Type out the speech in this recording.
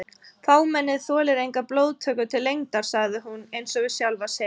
Fámennið þolir enga blóðtöku til lengdar sagði hún einsog við sjálfa sig.